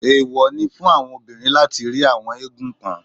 Èwò ni fún obìnrin láti rí àwọn eégún kan.